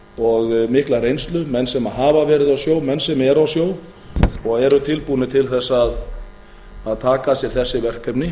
og mikla reynslu menn sem hafa verið á sjó menn sem eru á sjó og eru tilbúnir til að taka að sér þessi verkefni